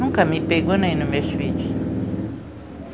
Nunca me pegou nem nos meus filhos.